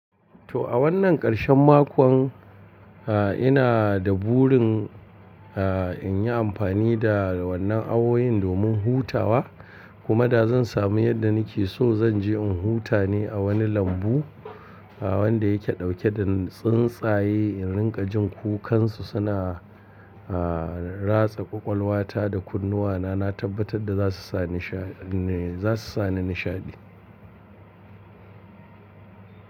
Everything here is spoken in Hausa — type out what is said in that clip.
To a wannan ƙarshen mako ha ina da burin a in yi amfani da wannan awoyin domin hutawa kuma da zan sami yadda nake so zan je in huta ne a wani lambu wanda yake dauke da tsuntsaye in rika jin kukansu suna a ratsa ƙwaƙwalwa ta da kunnuwana na tabbatar da za su sa nisha ne za su sa ni nishaɗi.